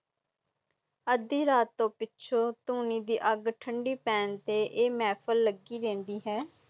ਆਦਿ ਰਾਤ ਤੋਂ ਪਿੱਛੇ ਤੁਨੀ ਦੀ ਅੱਗ ਠੰਡੀ ਪੇਂ ਤੇ ਇਹ ਮਹਿਫ਼ਿਲ ਲਗੀ ਰੇਂਦੀ ਹੈ